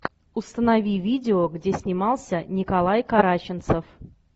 установи видео где снимался николай караченцов